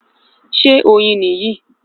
Ṣé oyin ní yí?